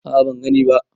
A a ban gani ba.